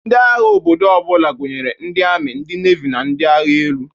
Ndị agha obodo ọ bụla gụnyere ndị ami, ndị nevi na ndị agha elu.